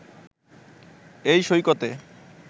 এই সৈকতে